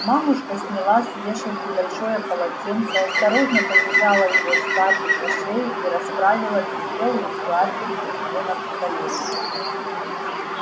мамушка сняла с вешалки большое полотенце осторожно повязала его скарлетт на шею и расправила белые складки у неё на коленях